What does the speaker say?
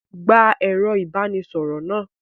Gba ẹ̀rọ-ìbánisọ̀rọ̀ náà!